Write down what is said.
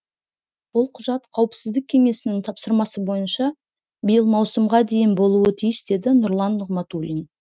ол құжат қауіпсіздік кеңесінің тапсырмасы бойынша биыл маусымға дейін болуы тиіс деді нұрлан нығматулин